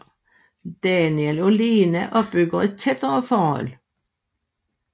Daniel og Lena opbygger et tættere forhold